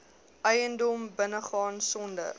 eiendom binnegaan sonder